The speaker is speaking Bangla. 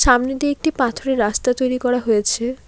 সামনে দিয়ে একটি পাথরের রাস্তা তৈরি করা হয়েছে।